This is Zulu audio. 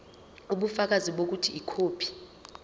ubufakazi bokuthi ikhophi